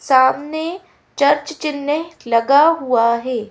सामने चर्च चिन्ह लगा हुआ है।